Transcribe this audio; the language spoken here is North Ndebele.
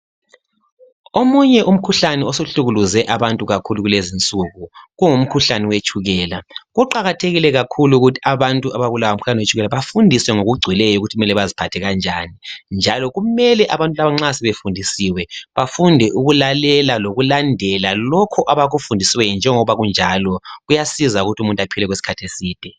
Omunye umkhuhlane osuhlukuluze abantu kakhulu kulezi nsuku kungumkhuhlane wetshukela. Kuqakathekile kakhulu ukuthi abantu abalawo umkhuhlane wetshukela bafundiswe ngokugcweleyo ukuthi kumele baziphathe njani. Njalo kumele abantu laba nxa sebefundisiwe bafunde ukulalela lokulandela lokhu abakufundisiweyo njengoba kunjalo kuyasiza ukuthi umuntu aphile okwesikhathi eside.